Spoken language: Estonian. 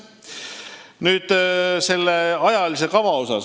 Nüüd ajakava kohta.